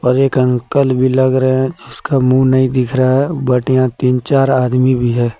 और एक अंकल भी लग रहे हैं जिसका मुंह नहीं दिख रहा है बट यहां तीन चार आदमी भी है।